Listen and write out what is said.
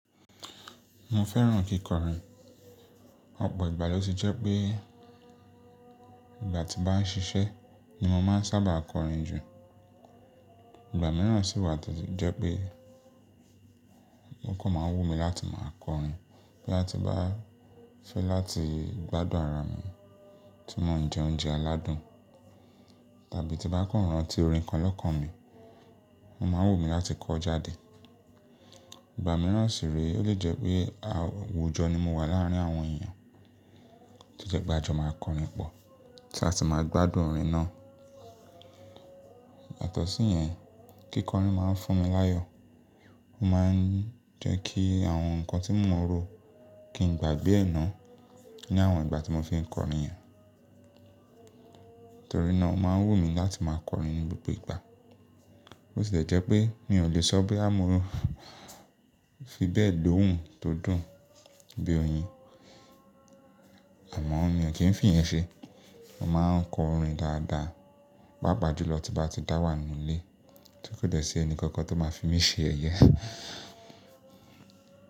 Mo fẹ́ràn kíkọrin, ọ̀pọ̀ ìgbà ló ti jẹ́ pé ìgbà tí mo bá ń ṣiṣẹ́ ni mo máa ń sábà kọrin jù. Ìgbà mìíràn sì wà tío jẹ́ pé, ó kàn máa wù mí láti máa kọrin, bí a ti bá fẹ́ láti gbádùn ara mi tí mo ń jẹ oúnjẹ aládùn, tàbí tí bá kàn rán tí orin kan lọ́kàn mi, mo máa ń wù mí láti kọ ọ́ jáde. Ìgbà mìíràn sì rè é lè jẹ́ pé àwùjọ ni mo wà láàrin àwọn èyàn tí jẹ́ pe ajoma máa kọrin pọ̀ tí a sì máa gbádùn orin náà. Yatọ̀sí yẹn, kíkọrin máa ń fún mi láyọ̀. Ó máa ń jẹ́ kí àwọn nǹkan tí mo rò kí n gbàgbé ẹ náà ní àwọn ìgbà tí mo fi ń kọrin yẹn. Nítorí náà ó máa ń wù mí láti máa kọrin ní gbogbo ìgbà. Ó sì lẹ́ jẹ́ pé mi ò lè sọ boya mon ro fi bẹ́ẹ̀ lòun tó dùn bí oyin. Àmọ́ mi ò kí n fìyẹ́n ṣe. Mo máa ń kọ orin dáadáa, pápà jù lọ tímbá ti dá wà nínú ilé. Tí kò dẹ́ sí ẹni kankan tó máa fi mí ṣe yẹ̀yẹ.